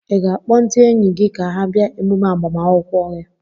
ị ga-akpọ ndị enyi gị ka ha bịa emumme agbamakwụkwọ a?